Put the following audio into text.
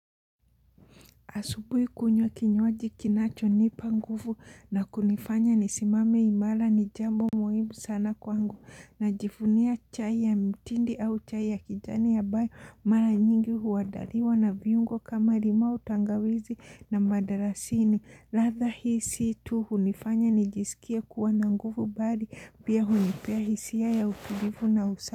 Asubui kunywa kinywaji kinachonipa nguvu na kunifanya nisimame imara ni jambo muhimu sana kwangu najifunia chai ya mtindi au chai ya kijani ambayo mara nyingi huadaliwa na viungo kama limau tangawizi na madarasini. Ladha hii sii tu hunifanya nijisikie kuwa na nguvu bali pia hunipea hisia ya utulivu na usa.